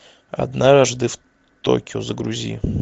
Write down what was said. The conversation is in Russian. однажды в токио загрузи